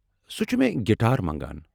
سُہ چُھ مے٘ گٹار منٛگان۔